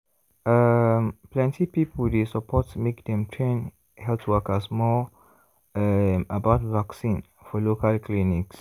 um plenty people dey support make dem train health workers more um about vaccine for local clinics.